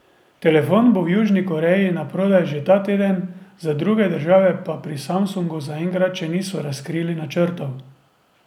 Telefon bo v Južni Koreji naprodaj že ta teden, za druge države pa pri Samsungu zaenkrat še niso razkrili načrtov.